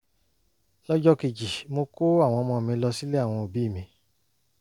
lọ́jọ́ kejì mo kó àwọn ọmọ mi lọ sílé àwọn òbí mi